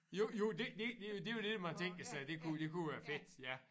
Jo jo det det det jo det man tænker sig det kunne det kunne være fedt ja